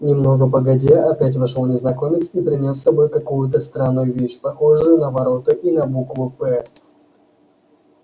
немного погодя опять вошёл незнакомец и принёс с собой какую-то странную вещь похожую на ворота и на букву п